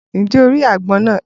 Ǹjẹ́ o ri àgbọn náà?